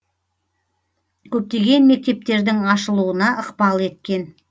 көптеген мектептердің ашылуына ықпал еткен